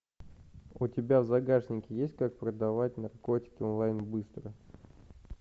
у тебя в загашнике есть как продавать наркотики онлайн быстро